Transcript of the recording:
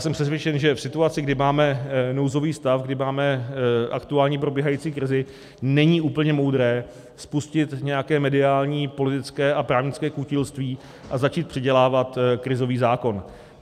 Jsem přesvědčen, že v situaci, kdy máme nouzový stav, kdy máme aktuálně probíhající krizi, není úplně moudré spustit nějaké mediální, politické a právnické kutilství a začít předělávat krizový zákon.